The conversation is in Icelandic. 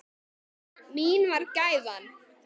Mín var gæfan.